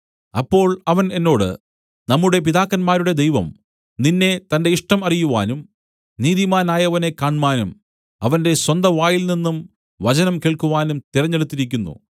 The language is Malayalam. അപ്പോൾ അവൻ എന്നോട് നമ്മുടെ പിതാക്കന്മാരുടെ ദൈവം നിന്നെ തന്റെ ഇഷ്ടം അറിയുവാനും നീതിമാനായവനെ കാണ്മാനും അവന്റെ സ്വന്ത വായിൽനിന്നും വചനം കേൾക്കുവാനും തിരഞ്ഞെടുത്തിരിക്കുന്നു